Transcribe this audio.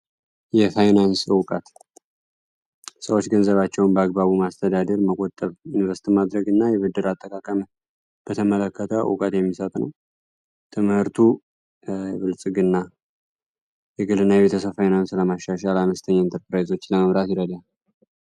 የፋይናንስ እውቀት ሰዎች ገንዘባቸውን በአግባቡ ማስተዳደር፣ መቆጠብና እና የገንዘብ አጠቃቀም በተመለከተ ዕውቀት የሚሰጥ ነው። ትምህርቱ የብልጽግና የግልን ፋይናንስ ለማሻሻልና አነስተኛ ኢንተርፕራይዞችን ለመምራት ይረዳል።